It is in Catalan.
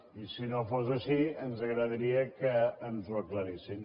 i si no fos així ens agradaria que ens ho aclarissin